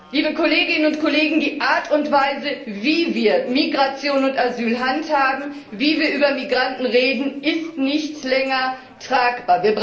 Liebe Kolleginnen und Kollegen, die Art und Weise, wie wir Migration und Asyl handhaben, wie wir über Migranten reden, ist nicht länger tragbar.